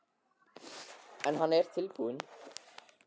Birta: En hann er tilbúinn?